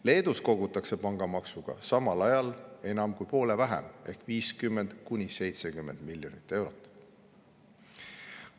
Leedus kogutakse pangamaksuga samal ajal enam kui poole vähem ehk 50–70 miljonit eurot.